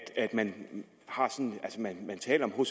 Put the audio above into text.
at man taler om